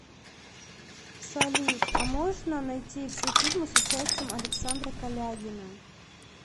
салют а можно найти все фильмы с участием александра калягина